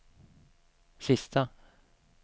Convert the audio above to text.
sista